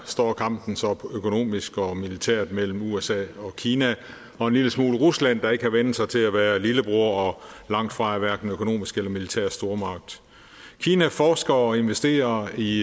står kampen så økonomisk og militært mellem usa og kina og en lille smule rusland der ikke har vænnet sig til at være lillebror og langtfra er hverken økonomisk eller militær stormagt kina forsker og investerer i